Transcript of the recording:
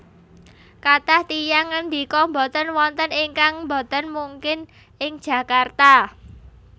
Kathah tiyang ngendika boten wonten ingkang boten mungkin ing Jakarta